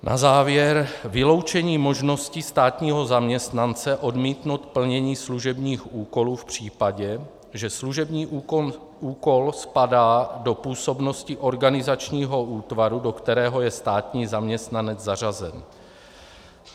Na závěr - vyloučení možnosti státního zaměstnance odmítnout plnění služebních úkolů v případě, že služební úkol spadá do působnosti organizačního útvaru, do kterého je státní zaměstnanec zařazen.